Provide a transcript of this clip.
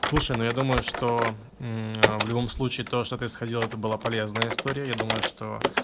слушай но я думаю что в любом случае то что ты сходила это было полезная история я думаю что